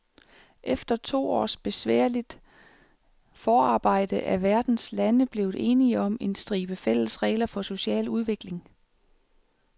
Efter to års besværligt forarbejde er verdens lande blevet enige om en stribe fælles regler for social udvikling.